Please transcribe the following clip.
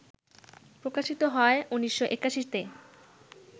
প্রকাশিত হয় ১৯৮১তে